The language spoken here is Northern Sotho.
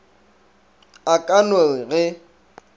a ka no re ge